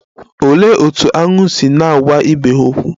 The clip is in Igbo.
Olee otú aṅu ga-esi na-agwa ibe ha okwu?